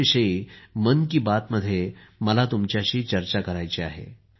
त्याच्याविषयी मन की बातमध्ये मला तुमच्याशी चर्चा करायची आहे